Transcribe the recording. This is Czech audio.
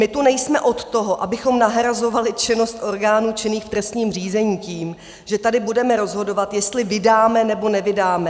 My tu nejsme od toho, abychom nahrazovali činnost orgánů činných v trestním řízení tím, že tady budeme rozhodovat, jestli vydáme, nebo nevydáme.